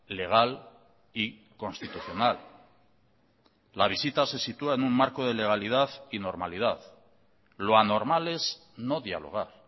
legal y constitucional la visita se sitúa en un marco de legalidad y normalidad lo anormal es no dialogar